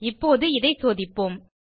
இப்போது இதை சோதிப்போம்